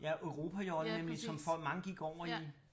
Ja europajollen nemlig som mange gik over i